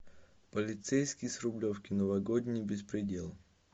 полицейский с рублевки новогодний беспредел